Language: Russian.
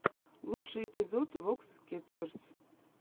лучший эпизод вокс кетчерз